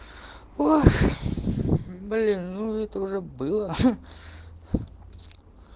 ох блин ну это уже было